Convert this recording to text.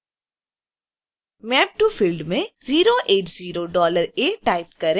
map to field में 080$a type करें